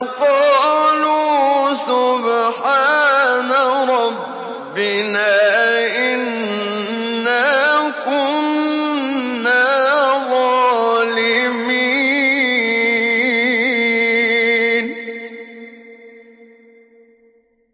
قَالُوا سُبْحَانَ رَبِّنَا إِنَّا كُنَّا ظَالِمِينَ